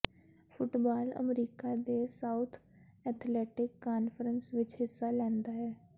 football America ਦੇ South Athletic Conference ਵਿਚ ਹਿੱਸਾ ਲੈਂਦਾ ਹੈ